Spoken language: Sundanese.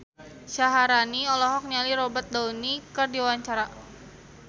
Syaharani olohok ningali Robert Downey keur diwawancara